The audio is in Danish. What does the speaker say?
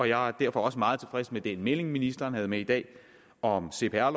jeg er derfor også meget tilfreds med den melding ministeren havde med i dag om cpr